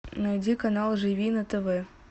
найди канал живи на тв